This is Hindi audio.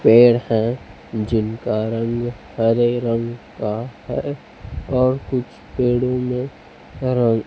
पेड़ हैं जिनका रंग हरे रंग का है और कुछ पेड़ों में --